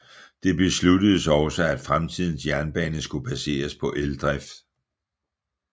Det besluttedes også at fremtidens jernbane skulle baseres på eldrift